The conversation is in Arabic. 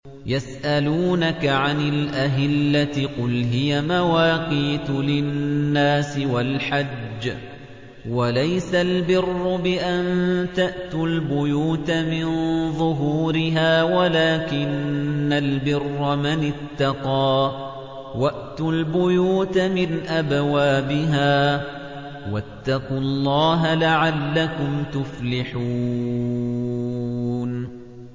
۞ يَسْأَلُونَكَ عَنِ الْأَهِلَّةِ ۖ قُلْ هِيَ مَوَاقِيتُ لِلنَّاسِ وَالْحَجِّ ۗ وَلَيْسَ الْبِرُّ بِأَن تَأْتُوا الْبُيُوتَ مِن ظُهُورِهَا وَلَٰكِنَّ الْبِرَّ مَنِ اتَّقَىٰ ۗ وَأْتُوا الْبُيُوتَ مِنْ أَبْوَابِهَا ۚ وَاتَّقُوا اللَّهَ لَعَلَّكُمْ تُفْلِحُونَ